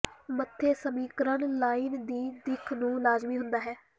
ਮੱਥੇ ਸਮੀਕਰਨ ਲਾਈਨ ਦੀ ਦਿੱਖ ਨੂੰ ਲਾਜ਼ਮੀ ਹੁੰਦਾ ਹੈ